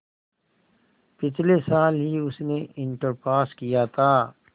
पिछले साल ही उसने इंटर पास किया था